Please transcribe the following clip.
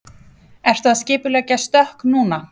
Ertu að skipuleggja stökk núna?